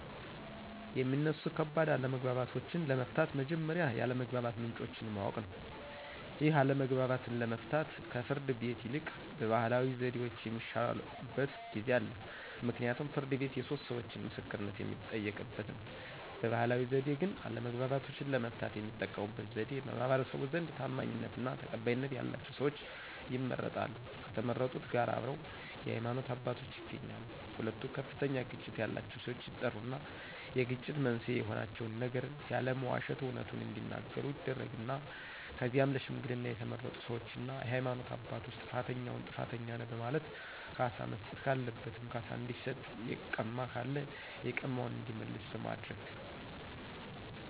የሚነሱ ከባድ አለመግባባቶችን ለመፍታት መጀመሪያ የአለመግባባት ምንጮችን ማወቅ ነው ይህን አለመግባባት ለመፍታት ከፍርድ ቤት ይልቅ ባህላዊ ዘዴዎች የሚሻሉበት ጊዜ አለ ምክንያቱም ፍርድ ቤት የሶስት ሰዎቾ ምስክርነት የሚጠየቅበት ነው። በባህላዊ ዘዴ ግን አለመግባባቶችን ለመፍታት የሚጠቀሙበት ዘዴዎች በማህበረሰቡ ዘንድ ታማኝነትና ተቀባይነት ያላቸው ሰዎች ይመረጣሉ ከተመረጡት ጋር አብረው የሃይማኖት አባቶች ይገኛሉ ሁለቱ ከፍተኛ ግጭት ያላቸው ሰዎች ይጠሩና የግጭት መንስኤ የሆናቸውን ነገር ያለመዋሸት አውነቱን እዲናገሩ ይደረግና ከዚያም ለሽምግልና የተመረጡ ሰዎችና የሃይማኖት አባቶች ጥፋተኛውን ጥፋተኛ ነህ በማለት ካሳ መስጠት ካለበትም ካሳ እንዲሰጥ የቀማ ካለ የቀማውን እንዲመልስ በማድረግ